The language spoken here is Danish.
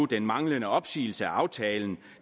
den manglende opsigelse af aftalen